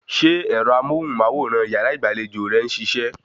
Ṣe ẹ̀rọ amóhùnmáwòrán yàrá ìgbàlejò rẹ ń ṣiṣẹ́?